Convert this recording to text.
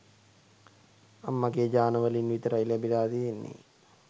අම්මගේ ජාන වලින් විතරයි ලැබිලා තියෙන්නේ